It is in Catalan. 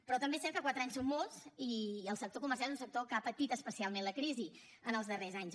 però també és cert que quatre anys són molts i el sector comercial és un sector que ha patit especialment la crisi en els darrers anys